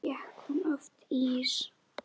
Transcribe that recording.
Fékk hún oft ís?